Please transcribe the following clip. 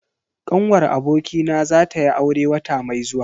Ƙanwar abokina za tayi aure wata mai zuwa.